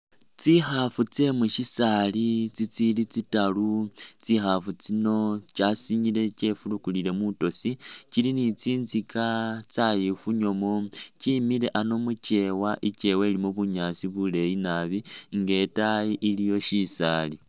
Tsikhaafu tsye mu syisaali itsili tsitaaru, Tsikhaafu tsino kyasinyile kye furukilile mwitosi, kili ni tsinzika tsyayifunyamu, tsyemile ano mukyeewa ilimo bunyaasi buleeyi naabi nga itaayi aliiyo shisaali.